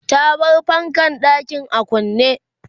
ta bar fankan ɗakin a kunne